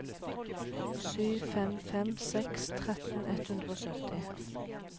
sju fem fem seks tretten ett hundre og sytti